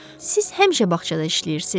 Siz həmişə bağçada işləyirsiz?